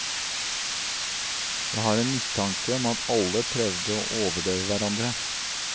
Jeg har en mistanke om at alle prøvde å overdøve hverandre.